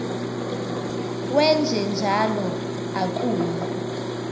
wenje njalo akuyi